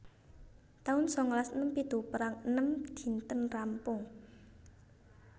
taun sangalas enem pitu Perang enem dinten rampung